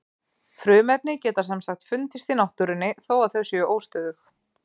Frumefni geta sem sagt fundist í náttúrunni þó að þau séu óstöðug.